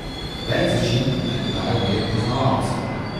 Več začimb naj dodajo v jed poznavalci.